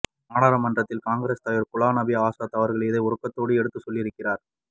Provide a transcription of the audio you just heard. நாடாளுமன்றத்தில் காங்கிரஸ்தலைவர் குலாம் நபி ஆசாத அவர்கள் இதை உருக்கத்தோடு எடுத்துச் சொல்லியிருக்கிறார்